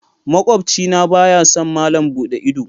Makwabci na baya son malam buɗe ido.